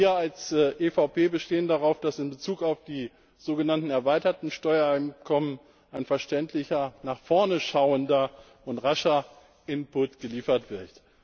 Wir als EVP bestehen darauf, dass in Bezug auf die sogenannten erweiterten Steuereinkommen ein verständlicher, nach vorn schauender und rascher Input geliefert wird.